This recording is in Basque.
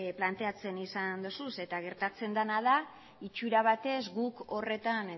planteatzen izan dituzu eta gertatzen dena da itxura batez guk horretan